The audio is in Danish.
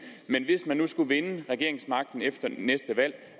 skulle vinde regeringsmagten efter næste valg